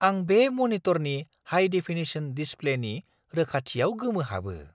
आं बे मनिटरनि हाइ-डेफिनेशन डिसप्लेनि रोखाथियाव गोमोहाबो!